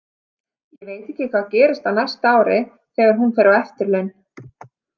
Ég veit ekki hvað gerist á næsta ári þegar hún fer á eftirlaun.